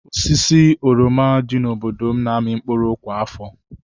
Osisi oroma dị n'obodo m na-amị mkpụrụ kwa afọ.